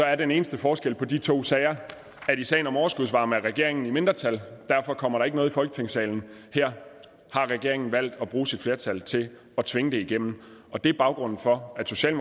er den eneste forskel på de to sager at i sagen om overskudsvarme er regeringen i mindretal derfor kommer der ikke noget i folketingssalen og her har regeringen valgt at bruge sit flertal til at tvinge det igennem og det er baggrunden for